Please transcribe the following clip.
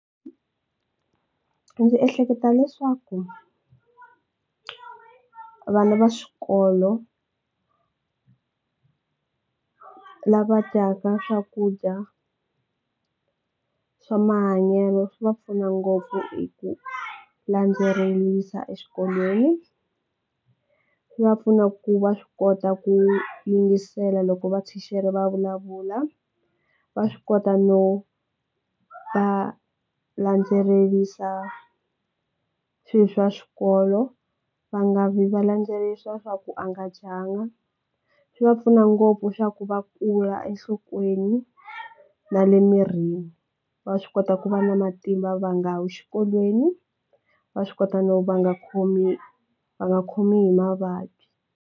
Ndzi ehleketa leswaku vana va swikolo lava dyaka swakudya swa mahanyelo swi va pfuna ngopfu hi ku landzelerisa exikolweni, swi va pfuna ku va swi kota ku yingisela loko vathicare vulavula, va swi kota no va landzelerisa swi swa xikolo, va nga vi va landzelerisa swa ku a nga dyanga. Swi va pfuna ngopfu swa ku va kula enhlokweni na le mirini va swi kota ku va na matimba va nga wi xikolweni, va swi kota no va nga khomi va nga khomi hi mavabyi.